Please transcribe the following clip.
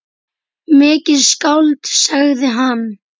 Mikið skáld, sagði hann.